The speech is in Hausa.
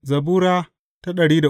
Zabura Sura